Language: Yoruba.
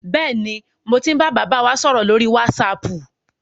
Bẹ́ẹ̀ni, mo ti ń bá bàbá wa sọ̀rọ̀ lórí wásaapù.